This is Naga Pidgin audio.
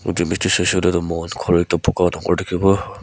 mohan khori ekta buka dangor dikhiwo.